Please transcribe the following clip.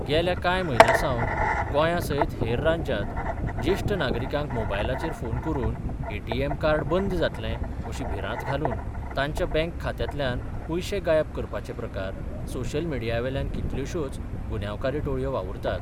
गेल्या कांय म्हयन्यांसावन गोंयासयत हेर राज्यांत जेष्ठ नागरिकांक मोबायलाचेर फोन करून एटीएम कार्ड बंद जातले अशी भिरांत घालून तांच्या बँक खात्यांतल्यान पयशे गायब करपाचे प्रकार सोशल मिडियावेल्यान कितल्योश्योच गुन्यांवकारी टोळयो वावुरतात.